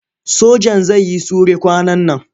Sojan zai yi sure kwanan nan.